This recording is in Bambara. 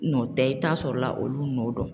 Nɔ tɛ i bi taa sɔrɔla olu nɔ don.